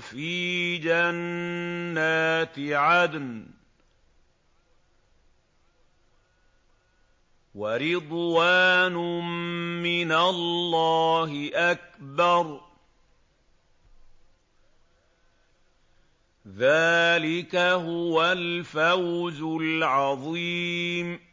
فِي جَنَّاتِ عَدْنٍ ۚ وَرِضْوَانٌ مِّنَ اللَّهِ أَكْبَرُ ۚ ذَٰلِكَ هُوَ الْفَوْزُ الْعَظِيمُ